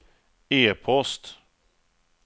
e-post